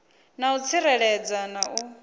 na u tsireledzea na u